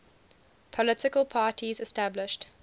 political parties established